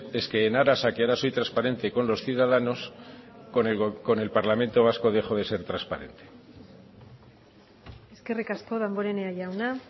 es que en aras a que ahora soy transparente con los ciudadanos con el parlamento vasco dejo de ser transparente eskerrik asko damborenea jauna